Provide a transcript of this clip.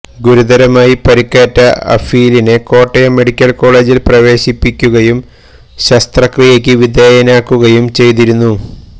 ഗുരുതരമായി പരിക്കേറ്റ അഫീലിനെ കോട്ടയം മെഡിക്കല് കോളേജില് പ്രവേശിപ്പിക്കുയും ശസ്ത്രക്രിയക്ക് വിധേയനാക്കുകയും ചെയ്തിരുന്നു